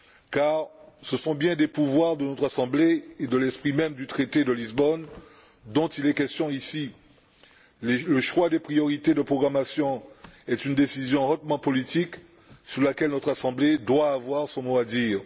Car ce sont bien des pouvoirs de notre Assemblée et de l'esprit même du traité de Lisbonne dont il est question ici. Le choix des priorités de programmation est une décision hautement politique, sur laquelle notre Assemblée doit avoir son mot à dire.